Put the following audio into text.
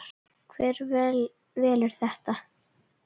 Hver velur þetta?